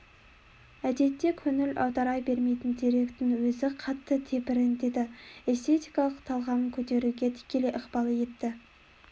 әдетте көңіл аудара бермейтін деректің өзі қатты тебірентеді эстетикалық талғамын көтеруге тікелей ықпал етті